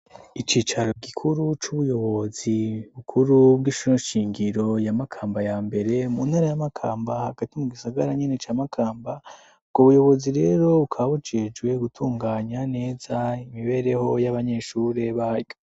Icicaro gikuru c'ubuyobozi bukuru bw'Ishuri Shingiro ya Makamba ya mbere mu ntara ya Makamba, hagati mu gisagara nyene ca Makamba; Ubwo buyobozi rero bukaba bujejwe gutunganya neza imibereho y'abanyeshuri baryo.